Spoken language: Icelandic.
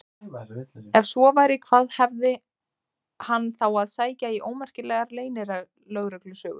Ef svo væri, hvað hafði hann þá að sækja í ómerkilegar leynilögreglusögur?